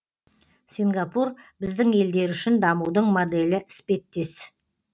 сингапур біздің елдер үшін дамудың моделі іспеттес